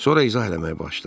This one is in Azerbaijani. Sonra izah eləməyə başladı.